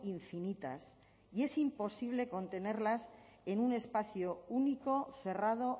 infinitas y es imposible contenerlas en un espacio único cerrado